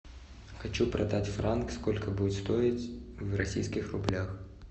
хочу продать франк сколько будет стоить в российских рублях